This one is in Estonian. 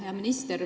Hea minister!